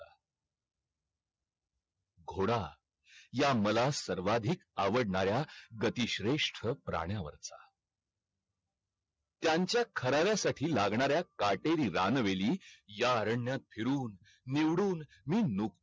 घोडा या मला सर्वाधिक आवडणार्या गती श्रेष्ठ प्रणया वरचा त्यांचा खराव्या साठी लागणार्या काटेरी रान वेळी या रण्यात फिरून निवडून मी नुक